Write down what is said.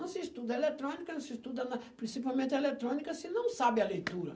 Não se estuda eletrônica, não se estuda na principalmente a eletrônica se não sabe a leitura.